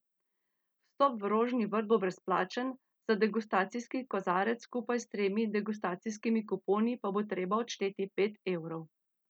Vstop v Rožni vrt bo brezplačen, za degustacijski kozarec skupaj s tremi degustacijskimi kuponi pa bo treba odšteti pet evrov.